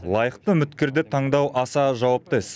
лайықты үміткерді таңдау аса жауапты іс